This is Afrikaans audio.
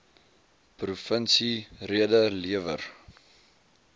provinsie rede lewer